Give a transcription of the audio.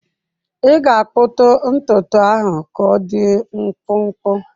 Ị ga-akpụtu ntutu ahụ ka ọdị mkpụmkpụ!